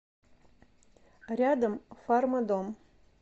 рядом фармадом